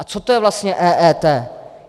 A co to je vlastně EET?